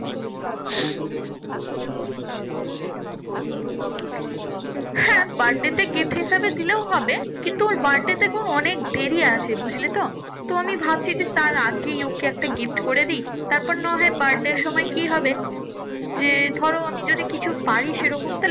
হ্যাঁ birthday তে gift হিসেবে দিলেও হবে। কিন্তু ওর birthday দেখো অনেক দেরি আছে, বুঝলেতো? তো আমি ভাবছি যে তার আগেই ওকে একটা gift করে দিই। তারপর না হয় birthday র সময় কি হবে যে ধরো আমি যদি কিছু পাই সেরকম তাহলে